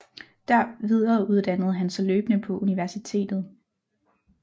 Der videreuddannede han sig løbende på universitetet